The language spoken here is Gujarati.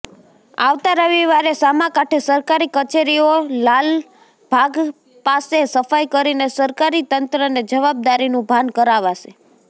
આવતા રવિવારે સામાકાંઠે સરકારી કચેરીઓ લાલભાગ પાસે સફાઈ કરીને સરકારી તંત્રને જવાબદારીનું ભાન કરાવાશે